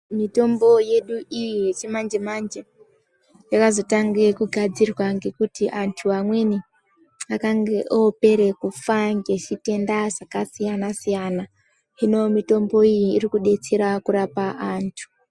Mitombo yedu iyi yechimanje manje yakazotange kugadzirwa ngekuti antu amweni akange opera kufa ngezvitenda zvakasiyana siyana hino mitombo iyi ikudetsera kurape antu.